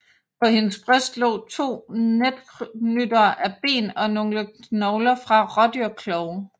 På hendes bryst lå to netknyttere af ben og nogle knogler fra rådyrklove